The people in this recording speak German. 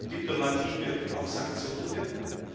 Diplomatie wirkt, auch Sanktionen wirken.